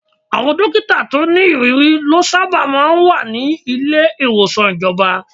Àwọn dókítà tó ní ìrírí lọ sábà máa ń wà ní ilé ìwòsàn ìjọba.